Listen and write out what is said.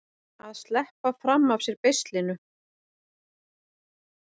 Að sleppa fram af sér beislinu